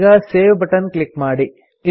ಈಗ save button click ಮಾಡಿ